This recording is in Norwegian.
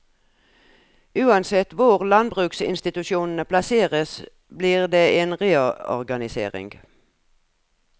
Uansett hvor landbruksinstitusjonene plasseres blir det en reorganisering.